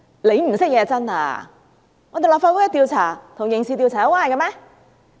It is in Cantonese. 其實是他們不懂，立法會調查與刑事調查有關係嗎？